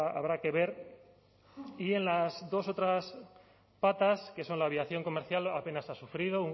habrá que ver y en las dos otras patas que son la aviación comercial apenas ha sufrido